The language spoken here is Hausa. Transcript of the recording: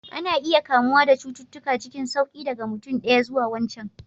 Ana iya kamuwa da cututtuka cikin sauƙi daga mutum ɗaya zuwa wancan